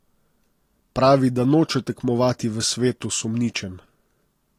Pravi, da noče tekmovati v svetu sumničenj.